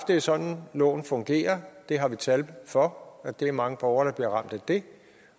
det er sådan loven fungerer vi har tal for at det er mange borgere der bliver ramt af det